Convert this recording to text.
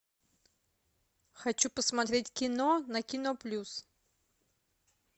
хочу посмотреть кино на кино плюс